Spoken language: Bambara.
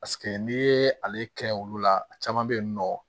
Paseke n'i ye ale kɛ olu la a caman bɛ yen nɔ